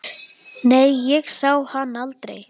Nei, ég sá hann aldrei.